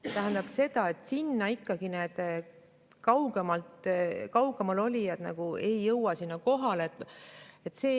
See tähendab seda, et sinna need kaugemal ei jõua kohale.